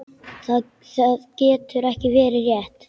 Það getur ekki verið rétt.